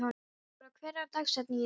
Ora, hver er dagsetningin í dag?